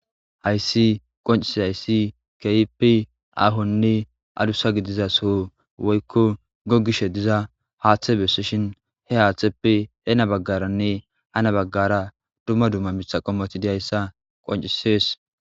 Hayssi qoncisi hayssi keyipi ahonne adusa gidiza so woykko gogishe diza haaththe besishin he haateppi heena baggaranne hana baggara dumma dumma mitha qommoti diyayssa qoncisees.